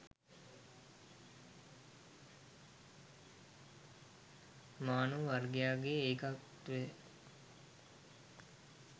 මානව වර්ගයාගේ ඒකත්වය